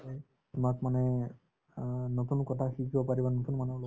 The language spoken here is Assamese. তোমাক মানে অ নতুন কথা শিকিব পাৰিবা নতুন মানুহক লগ